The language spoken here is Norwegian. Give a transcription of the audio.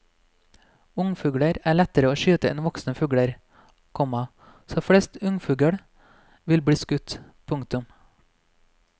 Ungfugler er lettere å skyte enn voksne fugler, komma så flest ungfugl vil bli skutt. punktum